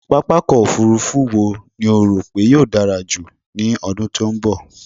Pápákọ̀ òfurufú eo ni o rò pé yóò dárá jù ní ọdún tí ó ń bọ̀?